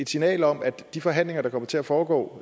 signal om at de forhandlinger der kommer til at foregå